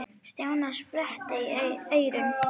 Stjáni sperrti eyrun.